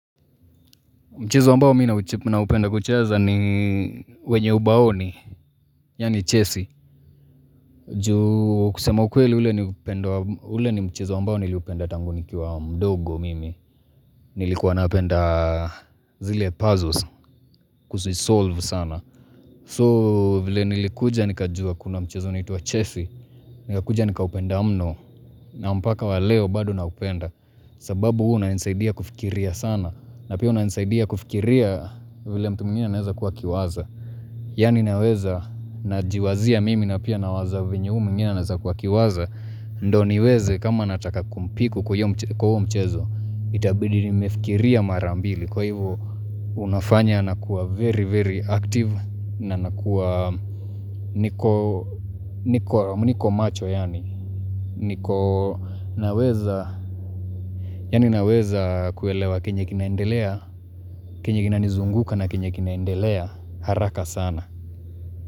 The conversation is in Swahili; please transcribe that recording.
Mchezo ambao mimi naupenda kucheza ni wenye ubaoni Yani chesi juu kusema ukweli ule ni upendo, ule ni mchezo ambao niliupenda tangu nikiwa mdogo mimi Nilikuwa napenda zile puzzles kuzisolve sana so vile nilikuja nikajua kuna mchezo uniatwa chesi Nikakuja nikaupenda mno na mpaka wa leo bado naupenda sababu huwa unanisaidia kufikiria sana na pia unanisaidia kufikiria vile mtu mwingine anaweza kuwa akiwaza yani naweza najiwazia mimi na pia nawaza vyenye huyu mwingine anaweza kuwa akiwaza Ndio niweze kama nataka kumpiku kwa huo mchezo Itabidi nimefikiria mara mbili Kwa hivyo Unafanya nakuwa very very active na nakuwa niko macho yani niko naweza Ninaweza kuelewa kenye kinaendelea Kenye kinanizunguka na kenye kinaendelea haraka sana.